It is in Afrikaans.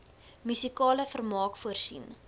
musikale vermaak voorsien